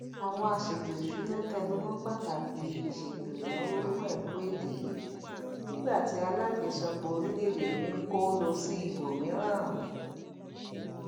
àwọn àsètò ìṣúná tẹnumọ pàtàkì ìsètò ìnáwó fún ẹkọ èdè nígbà tí alájosẹpọ orílèèdè mi n kó lo sí ibòmíràn